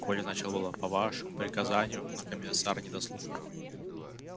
коля начал было по вашему приказанию но комиссар не дослушал